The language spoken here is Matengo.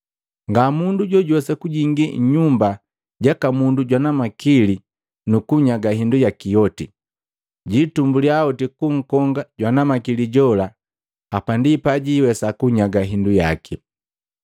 “Ngamundu jojuwesa kujingi nyumba jaka mundu jwana makili nukunyaga hindu yaki yoti, jitumbuliya oti kunkonga jwana makili jola. Hapa ndi pajiwesa kunyaga hindu yaki.”